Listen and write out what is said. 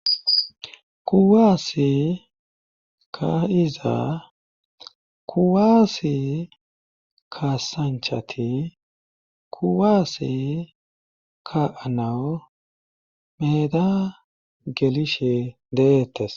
Kuwaassi kaiza kuwaasi kaasanchati kuwaasi ka anawu meeda gelishe deeettes